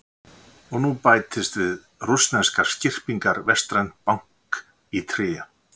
Og nú bætist við rússneskar skyrpingar vestrænt bank í tré.